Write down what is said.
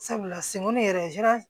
Sabula semu yɛrɛ